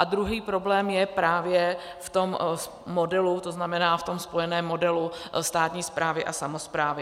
A druhý problém je právě v tom modelu, to znamená v tom spojeném modelu státní správy a samosprávy.